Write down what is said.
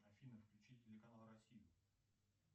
афина включи телеканал россия